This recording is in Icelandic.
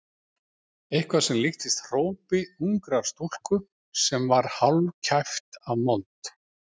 Eitthvað sem líktist hrópi ungrar stúlku sem var hálfkæft af mold.